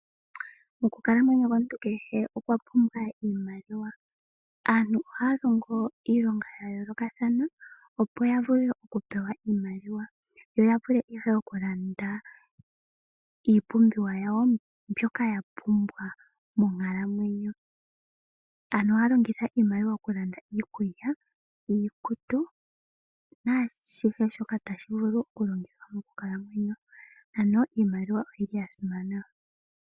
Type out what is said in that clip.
Okukalamwenyo komuntu kehe okwa pumbwa iimaliwa. Aantu ohaya longo iilonga ya yoolokathana opo ya vule okupewa iimaliwa. Yo ya vule ihe okulanda iipumbiwa yawo mboka ya pumbwa monkalamweyo. Aantu ohaya longitha iimaliwa okulanda iikulya, iikutu naashihe shoka tashi vulu okulongithwa mokukalamwenyo. Ano iimaliwa oyi li ya simana.